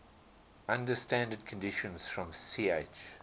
under standard conditions from ch